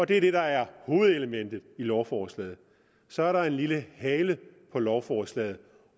det er det der er hovedelementet i lovforslaget så er der en lille hale på lovforslaget